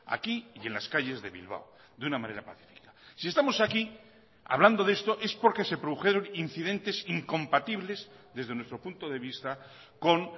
aquí y en las calles de bilbao de una manera pacífica si estamos aquí hablando de esto es porque se produjeron incidentes incompatibles desde nuestro punto de vista con